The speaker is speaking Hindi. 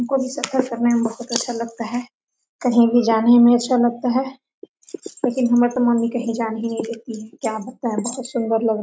हमको भी सफर करने में बहुत अच्छा लगता है कहीं भी जाने में अच्छा लगता है लेकिन हमें तो मम्मी कहीं जाने ही नहीं देती है क्या बताएं बहुत सुंदर लोग --